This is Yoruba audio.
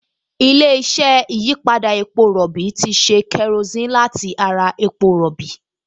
Ilé-iṣẹ́ ìyípadà epo rọ̀bì ti ṣe kerosíìnì láti ara epo rọ̀bì